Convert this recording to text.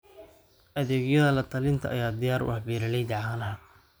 Adeegyada la-talinta ayaa diyaar u ah beeralayda caanaha.